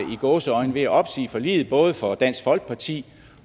ved at opsige forliget både for dansk folkeparti